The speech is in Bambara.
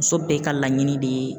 Muso bɛɛ ka laɲini de ye